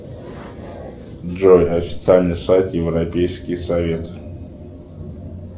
джой официальный сайт европейский совет